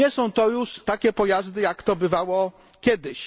Nie są to już takie pojazdy, jak to bywało kiedyś.